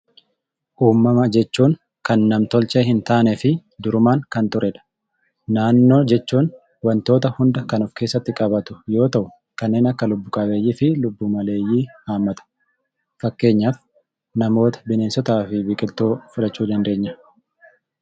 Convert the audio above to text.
Uumama jechuun kan nam-tolchee hintaaneefi durumaan kan turedha. Naannoo jechuun wantoota hunda kan of keessatti qabatu yoo ta'u, kanneen akka lubbu-qabeeyyiifi lubbu-maleeyyii haammata. Fakkeenyaaf namoota, bineensotaa fi biqiltoota fudhachuu dandeenya.